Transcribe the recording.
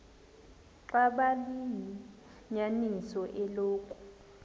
xaba liyinyaniso eloku